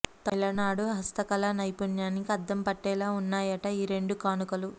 తమిళనాడు హస్తకళా నైపుణ్యానికి అద్దం పట్టేలా ఉన్నాయట ఈ రెండు కానుకలు